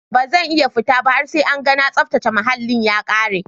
Bazan iya futaba har sai an gana tsaftace muhallin ya kare.